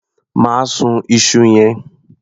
Má sun iṣu yẹn.